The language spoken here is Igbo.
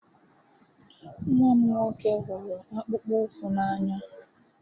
Nwa m nwoke hụrụ akpụkpọ ụkwụ n'anya